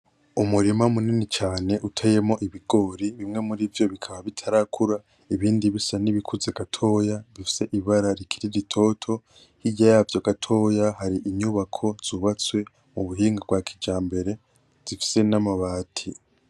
Umurima munini cane uteyemwo ibigori, bimwe murivyo bikaba bitarakura, ibinsi bisa n'ibikuze gatoya, bifise ibara rikiri ritoto. Hirya yavyo gatoya hari inyubako zubatswe ku buhinga bwa kijambere, zifise n'amabati.